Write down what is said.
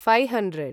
five hundred